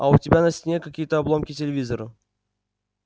а у тебя на стене какие-то обломки телевизора